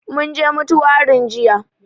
Mun je mutuwarin jiya